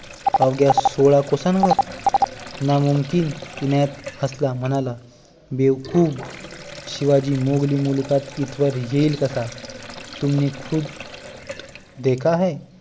अवघ्या सोळा कोसां वर नामुमकीन इनायत हासला म्हणाला बेवकुफ शिवाजी मोंघली मुलूखात इथवर येईलच कसा तुमने खुद देखा है